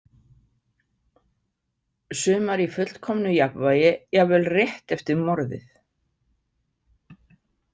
Sumar í fullkomnu jafnvægi jafnvel rétt eftir morðið.